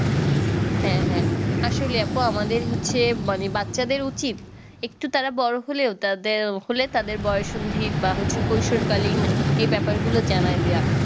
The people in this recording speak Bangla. হ্যাঁ হ্যাঁ আসলে আপু আমাদের হচ্ছে মানে বাচ্চাদের উচিত একটু তারা বড়ো হলেও তাদের হলে তাদের বয়সসন্ধি বা হচ্ছে কৈশোর কালীন এই ব্যাপার গুলো জানায় দেয়া